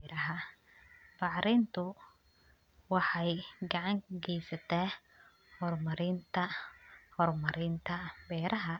Bacrintu waxay gacan ka geysataa horumarinta horumarinta beeraha.